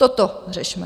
Toto řešme.